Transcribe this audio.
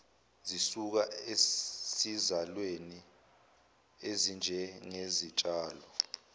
zisuka esizalweni ezinjengezitshalo